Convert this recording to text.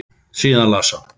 Síðan las hann